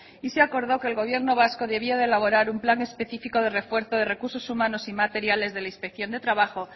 y se acordó que el gobierno vasco debía de elaborar un plan específico de refuerzo de recursos humanos y materiales de la inspección de trabajo